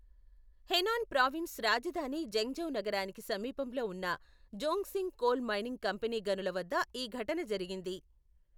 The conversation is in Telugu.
హెనాన్ ప్రావిన్స్ రాజధాని జెంగ్జౌ నగరానికి సమీపంలో ఉన్న జోంగ్సింగ్ కోల్ మైనింగ్ కంపెనీ గనుల వద్ద ఈ ఘటన జరిగింది.